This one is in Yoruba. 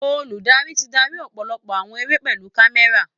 Olùdarí ti darí ọ̀pọ̀lọpọ̀ eré pẹ̀lú kámẹ́rà